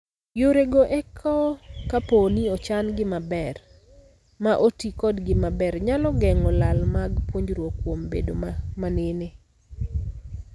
Yore go eko kapooni ochan gi maber ma otii kodgi maber nyalo geng'o lal mag puonjruok kuom bedo manene.